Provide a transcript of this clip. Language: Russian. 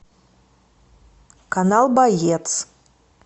канал боец